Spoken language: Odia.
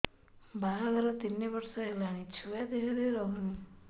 ବାହାଘର ତିନି ବର୍ଷ ହେଲାଣି ଛୁଆ ଦେହରେ ରହୁନି